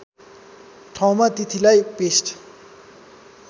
ठाउँमा तिथिलाई पेष्ट